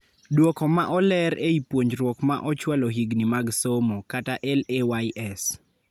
Duoko ma oleer ei puonjruok ma ochwalo higni mag somo (LAYS)